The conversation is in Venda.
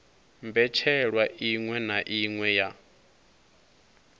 mbetshelwa iṅwe na iṅwe ya